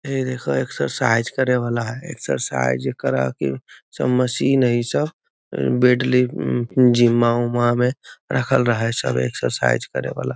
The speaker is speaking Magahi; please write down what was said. हेय देखाह एक्सरसाइज करे वाला हेय एक्सरसाइज करह की सब मशीन हेय इ सब वेट लिफ़ जिम उम्मा में रखल रहे हेय सब एक्सरसाइज करे वाला।